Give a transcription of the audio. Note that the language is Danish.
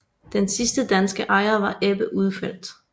Den sidste danske ejer var Ebbe Ulfeldt